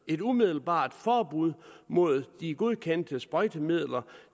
et umiddelbart forbud mod de godkendte sprøjtemidler